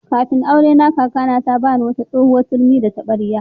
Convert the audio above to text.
Kafin aurena, kakata ta ba ni wata tsohuwar turmi da taɓarya.